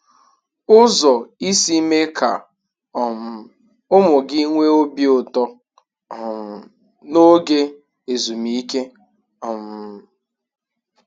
Ụzọ isi mee ka um ụmụ gị nwee obi ụtọ um n'oge ezumike. um